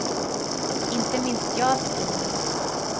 Inte minst jag, skriver han.